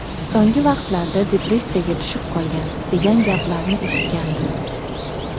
So‘nggi vaqtlarda depressiyaga tushib qolgan, degan gaplarni eshitgandim.